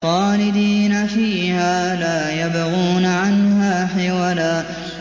خَالِدِينَ فِيهَا لَا يَبْغُونَ عَنْهَا حِوَلًا